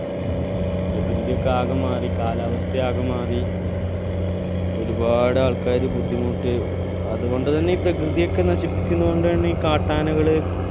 പ്രകൃതി ഒക്കെ ആകെ മാറി കാലാവസ്ഥ ആകെ മാറി ഒരുപാട് ആൾക്കാര് ബുദ്ധിമുട്ടി ഏർ അതുകൊണ്ട് തന്നെ ഈ പ്രകൃതിയൊക്കെ നശിപ്പിക്കുന്നതു കൊണ്ട് തന്നെ കാട്ടാനകള്